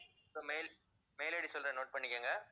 இப்ப mail, mail ID சொல்றேன் note பண்ணிக்கங்க